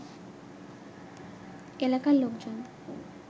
এলাকার লোকজন